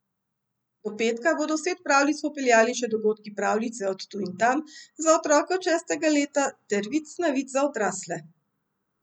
Do petka bodo v svet pravljic popeljali še dogodki Pravljice od tu in tam za otroke od šestega leta ter Vic na vic za odrasle.